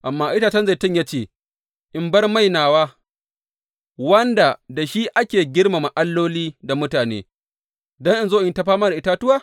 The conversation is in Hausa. Amma itacen zaitun ya ce, In bar mai nawa, wanda da shi ake girmama alloli da mutane, don in zo in yi ta fama da itatuwa?’